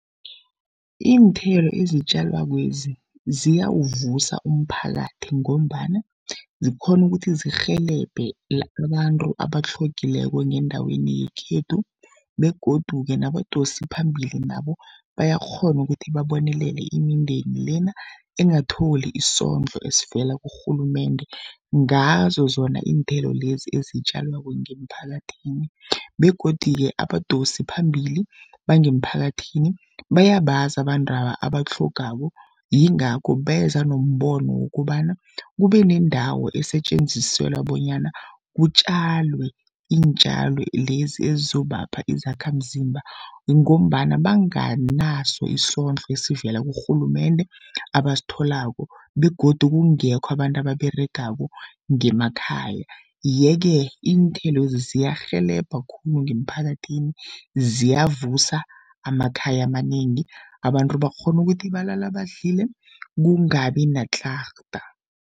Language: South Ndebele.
Iinthelo ezitjalakwezi ziyawuvusa umphakathi, ngombana zikghona ukuthi zirhelebhe abantu abatlhogileko ngendaweni yekhethu begodu-ke nabadosiphambili nabo bayakghona ukuthi babonelele imindeni lena, engatholi isondlo esivela kurhulumende ngazo zona iinthelo lezi ezitjalwako ngemphakathini. Begodu-ke abadosi phambili bangemphakathini bayabazi abantwaba abatlhogako, yingakho beza nombono wokobana kube nendawo esetjenziselwa bonyana kutjalwe iintjalo lezi ezizobapha izakhamzimba, ngombana banganaso isondlo esivela kurhulumende abasitholako. Begodu kungekho abantu ababeregako ngemakhaya. Yeke iinthelo lezi ziyarhelebha khulu ngemphakathini ziyavusa amakhaya amanengi, abantu bakghona ukuthi balala badlile kungabi natlarha.